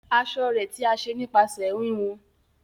aṣọ rẹ̀ tí a ṣe nípasẹ wíwú.